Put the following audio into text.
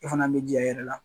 E fana bɛ jija i yɛrɛ la.